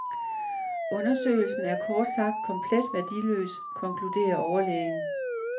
Undersøgelsen er kort sagt komplet værdiløs, konkluderer overlægen.